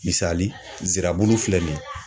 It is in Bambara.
Misali, zirabulu filɛ nin ye.